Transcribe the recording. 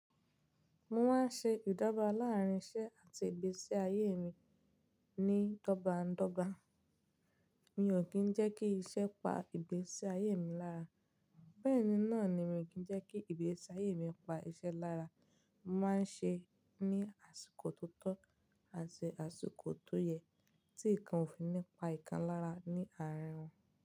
Mo máa ń ṣe ìdọgba láàárín isẹ́ àti ìgbésí ayé mi ní dọ́gbańdọ́gba. Mi ò kì í jẹ́ kí iṣẹ́ pa ìgbésí ayé mi lára, bẹ́ẹ̀ ni náà ni mi ò kí ń jẹ́ kí ìgbésí ayé mi pa iṣẹ́ lára. Mo máa ń ṣe ní àsìkò tó tọ́ àti àsìkò tó yẹ tí nǹkan ò fi ní pa ìkan lára ní àárín wọn.